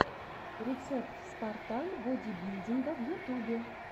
рецепт спартан бодибилдинга в ютубе